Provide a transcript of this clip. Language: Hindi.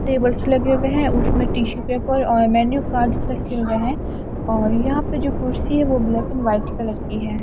टेबल्स लगे हुए हैं उसमें टीसु पेपर और मैनु कार्ड रखे हुए हैं और यहां पर जो कुर्सी है वह ब्लैक एंड व्हाइट कलर की है।